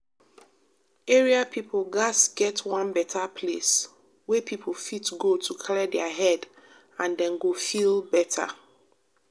area people gats get one better place wey people fit go to clear their head and dem go feel better